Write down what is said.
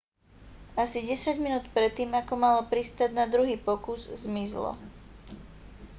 asi desať minút predtým ako malo pristáť na druhý pokus zmizlo